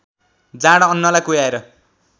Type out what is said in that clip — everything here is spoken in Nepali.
जाँड अन्नलाई कुह्याएर